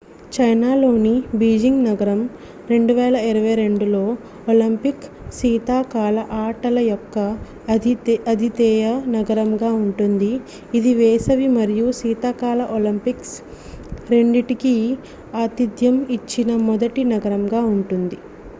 చైనాలోని బీజింగ్ నగరం 2022 లో ఒలింపిక్ శీతాకాల ఆటల యొక్క అతిధేయ నగరంగా ఉంటుంది ఇది వేసవి మరియు శీతాకాల ఒలింపిక్స్ రెండింటికి ఆతిథ్యం ఇచ్చిన మొదటి నగరంగా ఉంటుంది